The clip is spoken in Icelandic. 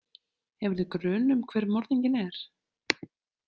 Hefurðu grun um hver morðinginn er?